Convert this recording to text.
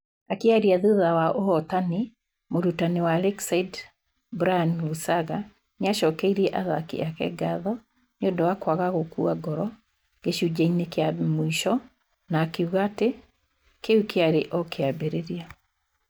Akĩaria thutha wa ũhootani, mũrutani wa Lakeside Brian Lusaga nĩ acokeirie athaaki ake ngatho nĩ ũndũ wa kwaga gũkua ngoro gĩcunjĩ-inĩ kĩa mũico na akiuga atĩ kĩu kĩarĩ o kĩambĩrĩria.